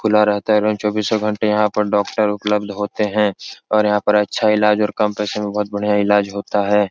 खुला रहता है और चोबीसो घंटे यहाँ पर डोक्टर उपलब्ध होते हैं और यहाँ पे अच्छा इलाज और कम पैसों मे बहोत बढ़िया इलाज होता है।